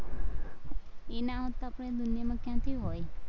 ઈ ના હોત તો આપણે દુનિયામાં ક્યાંથી હોય?